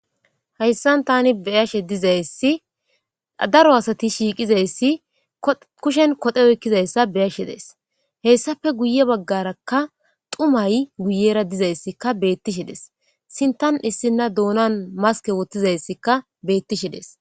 Haysan tani beyashe dizaysi daro asati shiqi dizayssi daro asati kushen koxxe oyqidayssa beyashe dayis guye bagara xumay miyera dizzaysi betishe dees sinthan issina donan maske wothizasika betashe dees.